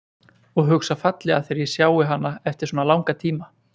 Og hugsa fallega þegar ég sjái hana eftir svona langan tíma.